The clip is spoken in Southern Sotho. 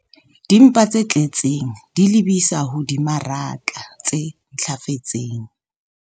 Dimpa tse tletseng di lebisa ho dimaraka tse ntlafetseng